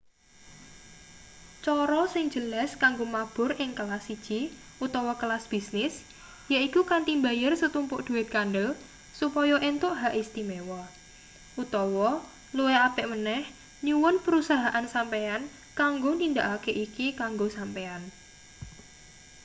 cara sing jelas kanggo mabur ing kelas siji utawa kelas bisnis yaiku kanthi mbayar setumpuk duit kandel supaya entuk hak istimewa utawa luwih apik meneh nyuwun perusahaan sampeyan kanggo nindakake iki kanggo sampeyan